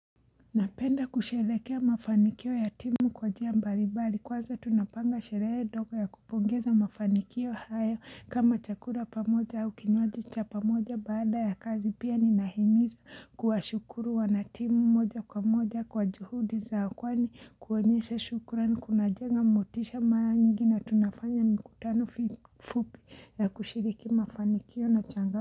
Napenda kusheherekea mafanikio ya timu kwa njia mbali mbali kwanza tunapanga sherehe dogo ya kupongeza mafanikio hayo kama chakura pamoja au kinywaji cha pamoja baada ya kazi pia ninahimiza kuwa shukuru wana timu moja kwa moja kwa juhudi zao kwani kuonyesha shukura ni kuna jenga motisha maya nyingi na tunafanya mikutano fi fupi ya kushiriki mafanikio na changa.